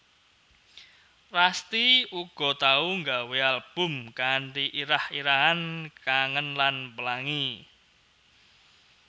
Rasti uga tau nggawé album kanthi irah irahan Kangen lan Pelangi